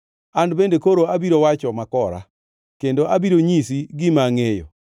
An bende koro abiro wacho makora; kendo abiro nyisi gima angʼeyo.